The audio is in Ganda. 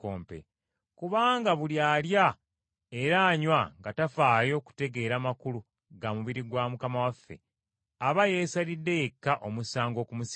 Kubanga buli alya era anywa nga tafaayo kutegeera makulu ga mubiri gwa Mukama waffe, aba yeesalidde yekka omusango okumusinga.